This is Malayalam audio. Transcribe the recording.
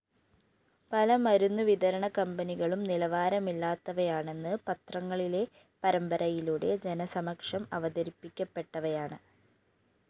പല മരുന്നുവിതരണ കമ്പനികളും നിലവാരമില്ലാത്തവയാണെന്ന് പത്രങ്ങളിലെ പരമ്പരയിലൂടെ ജനസമക്ഷം അവതരിപ്പിക്കപ്പെട്ടവയാണ്